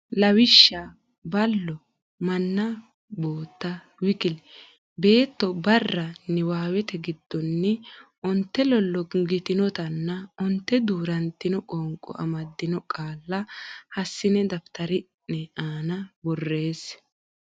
Lawishsha ballo manna bootta w k l beetto barra Niwaawete giddonni onte lollongitinotanna onte duu rantino qoonqo amaddinno qaalla hassine daftari ne aana borreesse.